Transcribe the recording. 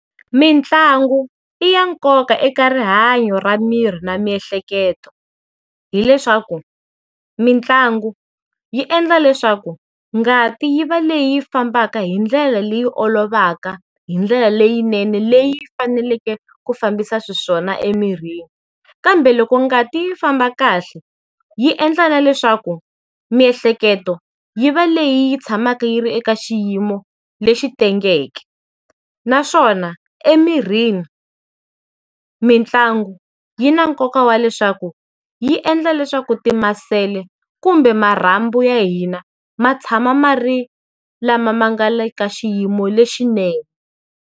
Mitlangu i ya nkoka eka rihanyo ra miri na miehleketo hileswaku mitlangu yi endla leswaku ngati yi va leyi fambaka hi ndlela leyi olovaka, hi ndlela leyinene, leyi faneleke ku fambisa xiswona emirini. Kambe loko ngati yi famba kahle, yi endla na leswaku, miehleketo, yi va leyi yi tshamaka yi ri eka xiyimo lexi tengeke. Naswona, emirini, mitlangu yi na nkoka wa leswaku, yi endla leswaku timasele kumbe marhambu ya hina ma tshama ma ri lama ma nga le ka xiyimo lexinene.